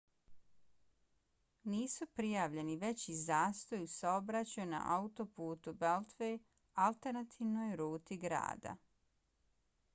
nisu prijavljeni veći zastoji u saobraćaju na autoputu beltway alternativnoj ruti grada